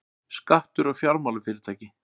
Skattur á fjármálafyrirtæki